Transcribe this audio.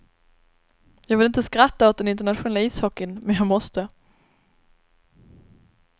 Jag vill inte skratta åt den internationella ishockeyn, men jag måste.